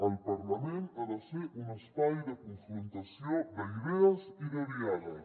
el parlament ha de ser un espai de confrontació d’idees i de diàleg